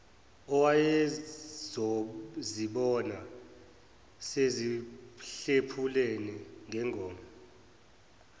owayezozibona sezihlephulana ngengoma